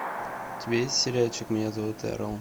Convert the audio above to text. у тебя есть сериальчик меня зовут эрл